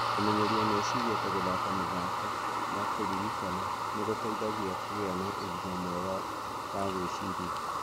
Kũmenyeria meciria ta gũthaka mĩthako ya kũririkana nĩ gũteithagia kũgĩa na ũgima mwega wa gwĩciria.